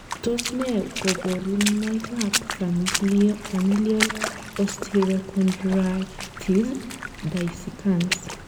Tos nee koborunoikab Familial osteochondritis dissecans?